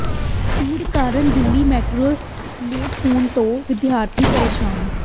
ਭੀੜ ਕਾਰਨ Delhi metro late ਹੋਣ ਤੋਂ ਵਿਦਿਆਰਥੀ ਪ੍ਰੇਸ਼ਾਨ